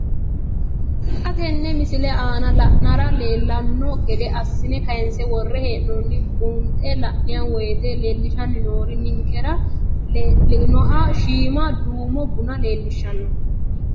Xa tenne missile aana la'nara leellanno gede assine kayiinse worre hee'noonniri buunxe la'nanni woyiite leellishshanni noori ninkera leinoha shama duumo buna leellishshanno.